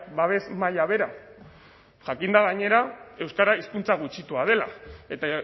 babes maila bera jakinda gainera euskara hizkuntza gutxitua dela eta